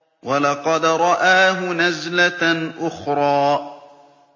وَلَقَدْ رَآهُ نَزْلَةً أُخْرَىٰ